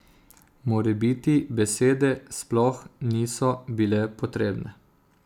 Morebiti besede sploh niso bile potrebne.